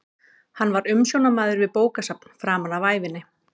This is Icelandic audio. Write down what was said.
Hann var umsjónarmaður við bókasafn framan af ævinni.